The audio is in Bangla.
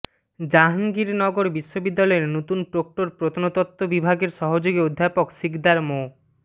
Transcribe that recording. জাহাঙ্গীরনগর বিশ্ববিদ্যালয়ের নতুন প্রক্টর প্রত্নতত্ত্ব বিভাগের সহযোগী অধ্যাপক সিকদার মো